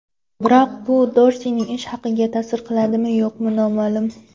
Biroq bu Dorsining ish haqiga ta’sir qiladimi-yo‘qmi noma’lum.